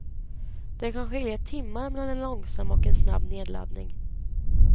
Det kan skilja timmar mellan en långsam och en snabb nedladdning.